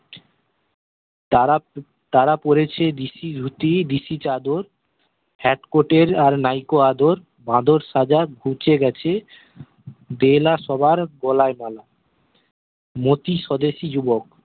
তারা তারা পরেছে দিসি ধুতি দিসি চাদর hat coat এর আর নাইকো আদর বাদর সাজা ঘুছে গেছে দে না সবার গলায় মালা মোতি স্বদেশি যুবক